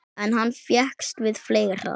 En hann fékkst við fleira.